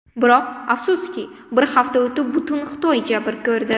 Biroq, afsuski, bir hafta o‘tib butun Xitoy jabr ko‘rdi.